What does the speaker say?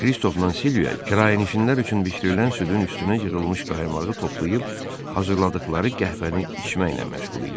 Kristofla Silviya kirayənişinlər üçün bişirilən südün üstünə yığılmış qaymağı toplayıb hazırladıqları qəhvəni içməklə məşğul idilər.